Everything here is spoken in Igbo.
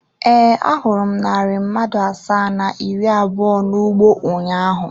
Ee, ahụrụ m narị mmadụ asaa na iri abụọ n’ugbo ụnyaahụ.